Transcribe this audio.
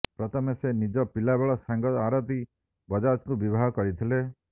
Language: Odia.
ପ୍ରଥମେ ସେ ନିଜ ପିଲାବେଳ ସାଙ୍ଗ ଆରତୀ ବଜାଜଙ୍କୁ ବିବାହ କରିଥିଲେ